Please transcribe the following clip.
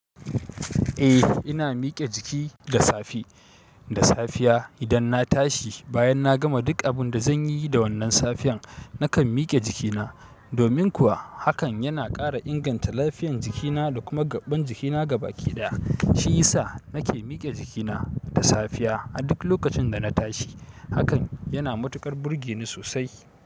Eh ina miƙe jiki da safe, da safiya idan na tashi bayan na gama duk abun da zan yi da wannan safiyar, nakan miƙe jikina. Domin kuwa hakan yana ƙara inganta lafiyan jikina da kuma gaɓɓan jikina gaba ki ɗaya. Shi yasa nake miƙe jikina da safiya, a duk lokacin da na tashi. Hakan yana matuƙar burge ni sosai.